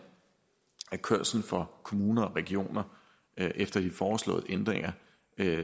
at kørsel for kommuner og regioner efter de foreslåede ændringer